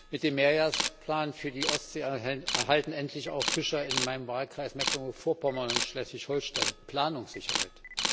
Mit dem Mehrjahresplan für die Ostsee erhalten endlich auch Fischer in meinem Wahlkreis Mecklenburg Vorpommern und Schleswig Holstein Planungssicherheit.